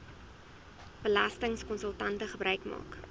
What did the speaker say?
belastingkonsultante gebruik maak